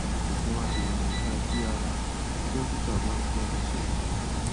òògùn adènà ìtají ara tí dọkítà bá kọ lẹ ṣèrànwọ